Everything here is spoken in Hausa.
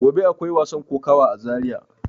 Gobe akwai wasan kokawa a zaria.